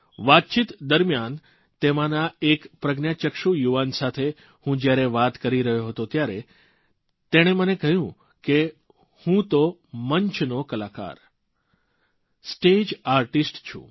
વાતચીત દરમ્યાન તેમાંના એક પ્રજ્ઞાચક્ષુ યુવાન સાથે હું જયારે વાત કરી રહ્યો હતો ત્યારે તેણે મને ક્હ્યું કે હું તો મંચનો કલાકારસ્ટેજ આર્ટિસ્ટ છું